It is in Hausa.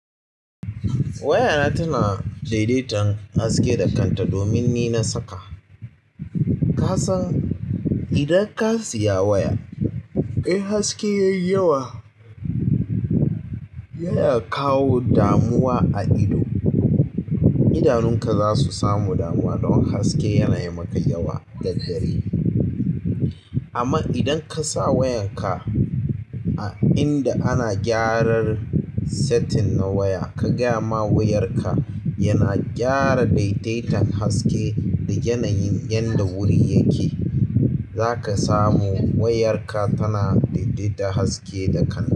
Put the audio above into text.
Wayana tana daidaitan haske da kanta domin ni na saka. Ka san idan ka siya waya, eh haske yayi yawa. Ya ya kawo damuwa a ido. Idanu ka zasu samu, damuwa domin haske yana yi maka yawa, amman idan kasa wayar ka a inda ana gyaran setting na waya, ka gaya ma wayar ka yana gyara daidata haske da yanayin yanda gurin yake zaka samu wayarka tana daidaita haske da kanta.